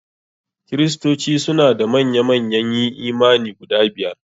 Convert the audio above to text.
Kristoci suna da manya manyan yi imani guda biyar.